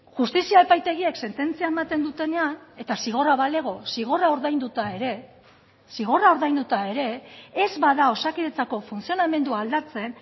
justizia epaitegiek sententzia ematen dutenean eta zigorra balego zigorra ordainduta ere zigorra ordainduta ere ez bada osakidetzako funtzionamendua aldatzen